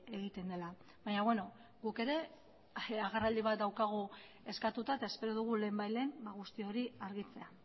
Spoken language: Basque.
egiten dela baina beno guk ere agerraldi bat daukagu eskatuta eta espero dugu lehenbailehen guzti hori argitzea